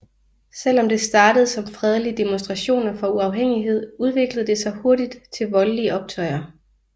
Selvom det startede som fredelige demonstrationer for uafhængighed udviklede det sig hurtigt til voldlige optøjer